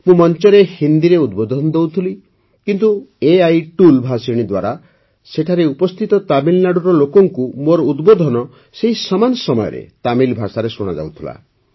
ମୁଁ ମଞ୍ଚରେ ହିନ୍ଦୀରେ ଉଦ୍ବୋଧନ ଦେଉଥିଲି କିନ୍ତୁ ଏଆଇ ଟୁଲ୍ ଭାଷିଣୀ ଦ୍ୱାରା ସେଠାରେ ଉପସ୍ଥିତ ତାମିଲନାଡୁର ଲୋକଙ୍କୁ ମୋର ଉଦ୍ବୋଧନ ସେହି ସମାନ ସମୟରେ ତାମିଲ ଭାଷାରେ ଶୁଣାଯାଉଥିଲା